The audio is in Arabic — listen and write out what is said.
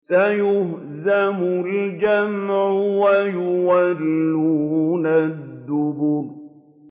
سَيُهْزَمُ الْجَمْعُ وَيُوَلُّونَ الدُّبُرَ